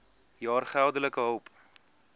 jaar geldelike hulp